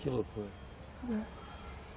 Que loucura.